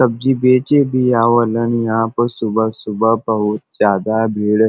सब्जी बेचे भी आवलन। यहाँ प सुबह सुबह बहुत ज्यादा भीड़ --